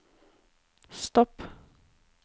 stopp